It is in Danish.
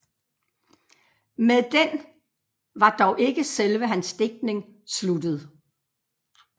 Med den var dog ikke selve hans digtning sluttet